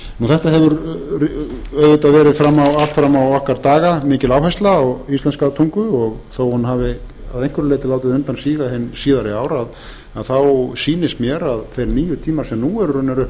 þetta hefur auðvitað verið allt fram á okkar daga mikil áhersla á íslenska tungu og þó að hún hafi að einhverju leyti látið undan síga hin síðari ár sýnist mér að þeir nýju tímar sem nú eru